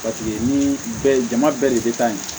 Paseke ni bɛɛ jama bɛɛ de bɛ taa ye